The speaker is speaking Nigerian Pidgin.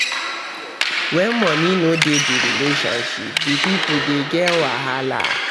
When money no de di relationship di pipo de get wahala